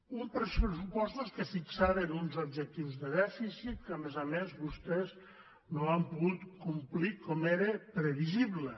uns pressupostos que fixaven uns objectius de dèficit que a més a més vostès no han pogut complir com era previsible